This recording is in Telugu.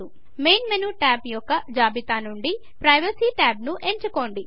మెయిన్ మెను టాబ్స్ యొక్క జాబితా నుండి ప్రైవసీ ట్యాబ్ను ఎంచుకోండి